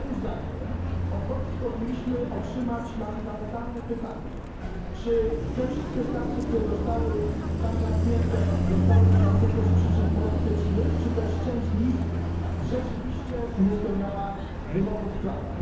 Moim zdaniem, powinniśmy otrzymać odpowiedź na fundamentalne pytanie czy te wszystkie stacje, które zostały tam zamknięte, zostały zamknięte z przyczyn politycznych, czy też część z nich rzeczywiście nie spełniała wymogów prawa?